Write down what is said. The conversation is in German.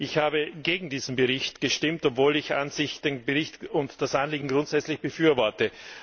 Ich habe gegen diesen Bericht gestimmt, obwohl ich an sich den Bericht und das Anliegen grundsätzlich befürworte.